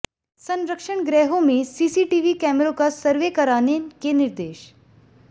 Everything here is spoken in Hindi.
संरक्षण गृहों में सीसीटीवी कैमरों का सर्वे कराने के निर्देश